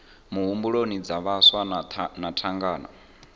muhumbuloni dza vhaswa na thangana